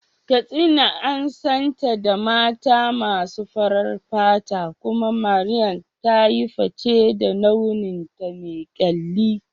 Katsina an santa da mata masu farar fata, kuma Mariam ta yi fice da launinta me kyalli.